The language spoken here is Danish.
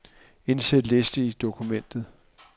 Indsæt liste i dokumentet.